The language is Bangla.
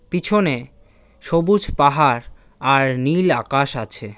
পিছনে সবুজ পাহাড় আর নীল আকাশ আছে।